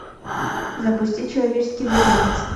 запусти человеческий зверинец